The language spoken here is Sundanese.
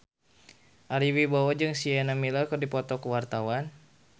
Ari Wibowo jeung Sienna Miller keur dipoto ku wartawan